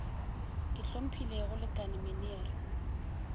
ke hlomphile go lekane meneer